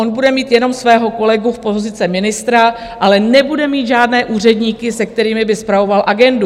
On bude mít jenom svého kolegu z pozice ministra, ale nebude mít žádné úředníky, se kterými by spravoval agendu.